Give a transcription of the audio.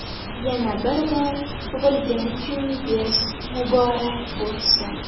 Yana bir bora tug‘ilgan kuningiz muborak bo‘lsin!